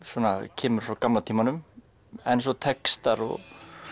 kemur frá gamla tímanum en textar og